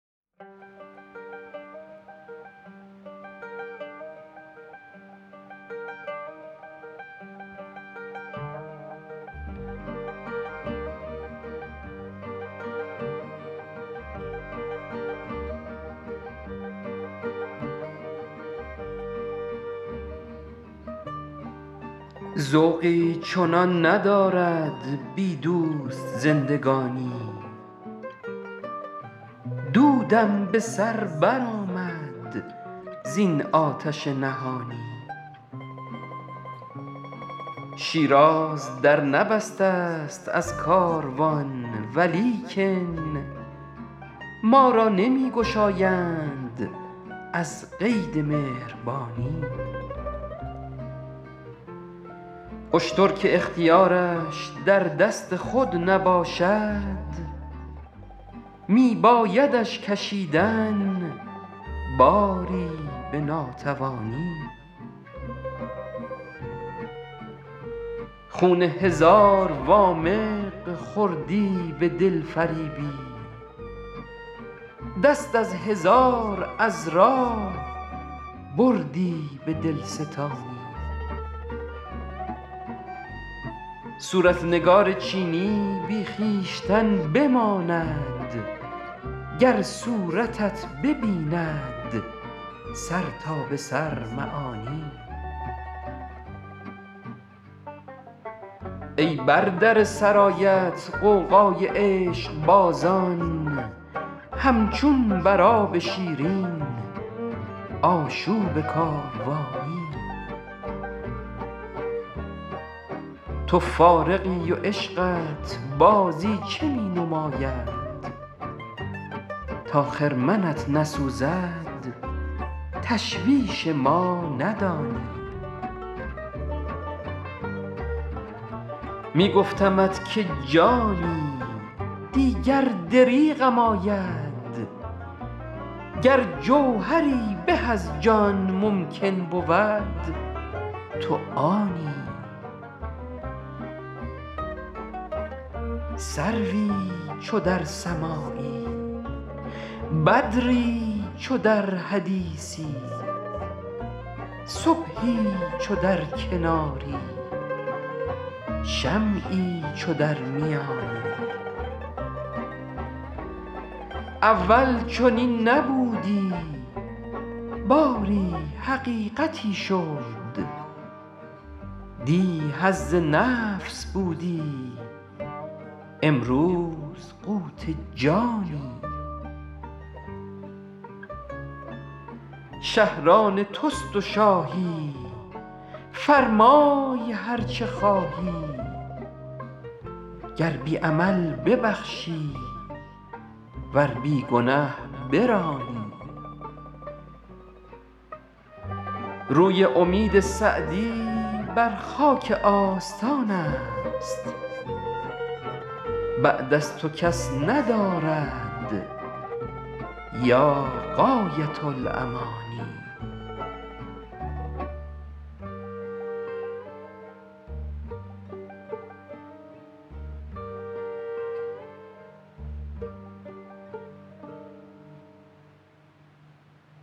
ذوقی چنان ندارد بی دوست زندگانی دودم به سر برآمد زین آتش نهانی شیراز در نبسته ست از کاروان ولیکن ما را نمی گشایند از قید مهربانی اشتر که اختیارش در دست خود نباشد می بایدش کشیدن باری به ناتوانی خون هزار وامق خوردی به دلفریبی دست از هزار عذرا بردی به دلستانی صورت نگار چینی بی خویشتن بماند گر صورتت ببیند سر تا به سر معانی ای بر در سرایت غوغای عشقبازان همچون بر آب شیرین آشوب کاروانی تو فارغی و عشقت بازیچه می نماید تا خرمنت نسوزد تشویش ما ندانی می گفتمت که جانی دیگر دریغم آید گر جوهری به از جان ممکن بود تو آنی سروی چو در سماعی بدری چو در حدیثی صبحی چو در کناری شمعی چو در میانی اول چنین نبودی باری حقیقتی شد دی حظ نفس بودی امروز قوت جانی شهر آن توست و شاهی فرمای هر چه خواهی گر بی عمل ببخشی ور بی گنه برانی روی امید سعدی بر خاک آستان است بعد از تو کس ندارد یا غایة الامانی